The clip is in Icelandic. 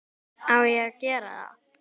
Á ég að gera það?